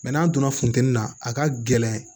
n'a donna funtɛni na a ka gɛlɛn